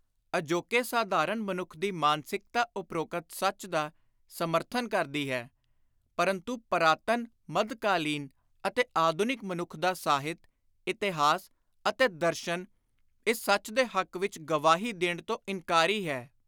ਅਜੋਕੇ ਸਾਧਾਰਣ ਮਨੁੱਖ ਦੀ ਮਾਨਸਿਕਤਾ ਉਪ੍ਰੋਕਤ ਸੱਚ ਦਾ ਸਮਰਥਨ ਕਰਦੀ ਹੈ ਪਰੰਤੂ ਪਰਾਤਨ, ਮੱਧਕਾਲੀਨ ਅਤੇ ਆਧੁਨਿਕ ਮਨੁੱਖ ਦਾ ਸਾਹਿਤ, ਇਤਿਹਾਸ ਅਤੇ ਦਰਸ਼ਨ ਇਸ ਸੱਚ ਦੇ ਹੱਕ ਵਿਚ ਗਵਾਹੀ ਦੇਣ ਤੋਂ ਇਨਕਾਰੀ ਹੈ।